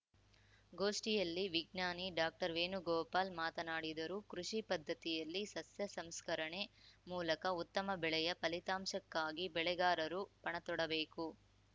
ಗೋಷ್ಠಿಯಲ್ಲಿ ವಿಜ್ಞಾನಿ ಡಾಕ್ಟರ್ವೇಣುಗೋಪಾಲ್‌ ಮಾತನಾಡಿದರು ಕೃಷಿ ಪದ್ಧತಿಯಲ್ಲಿ ಸಸ್ಯ ಸಂಸ್ಕರಣೆ ಮೂಲಕ ಉತ್ತಮ ಬೆಳೆಯ ಫಲಿತಾಂಶಕ್ಕಾಗಿ ಬೆಳೆಗಾರರು ಪಣತೊಡಬೇಕು